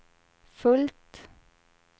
fullt